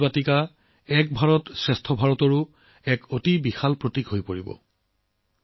এই অমৃত বাটিকাও এক ভাৰত শ্ৰেষ্ঠ ভাৰতৰ এক ভৱিষ্যতৰ প্ৰতীক হৈ পৰিব